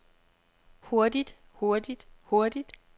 hurtigt hurtigt hurtigt